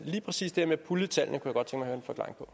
lige præcis det med at pulje tallene kunne jeg godt tænke